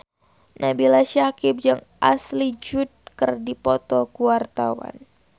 Nabila Syakieb jeung Ashley Judd keur dipoto ku wartawan